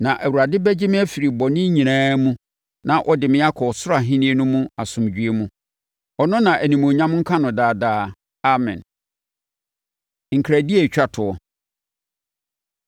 Na Awurade bɛgye me afiri bɔne nyinaa mu na ɔde me akɔ ɔsoro Ahennie no mu asomdwoeɛ mu. Ɔno na animuonyam nka no daadaa. Amen. Nkradie A Ɛtwa Toɔ